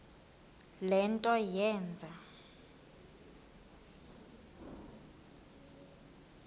le nto yenze